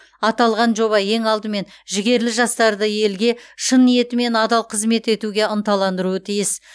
аталған жоба ең алдымен жігерлі жастарды елге шын ниетімен адал қызмет етуге ынталандыруы тиіс